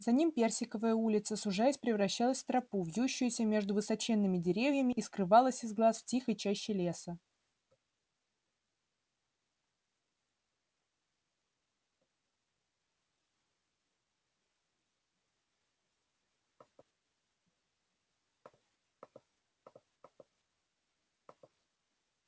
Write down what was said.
за ним персиковая улица сужаясь превращалась в тропу вьющуюся между высоченными деревьями и скрывалась из глаз в тихой чаще леса